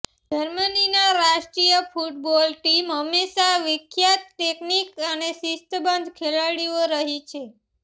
જર્મનીના રાષ્ટ્રીય football team હંમેશા વિખ્યાત ટેકનિક અને શિસ્તબદ્ધ ખેલાડીઓ રહી છે